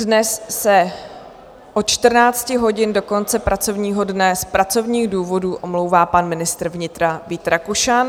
Dnes se od 14 hodin do konce pracovního dne z pracovních důvodů omlouvá pan ministr vnitra Vít Rakušan.